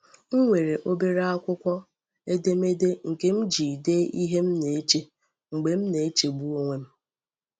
M nwere obere akwụkwọ edemede nke m ji dee ihe m na-eche mgbe m na-echegbu onwe m.